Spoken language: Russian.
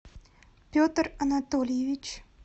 петр анатольевич